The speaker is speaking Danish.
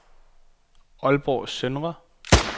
Aalborg Søndre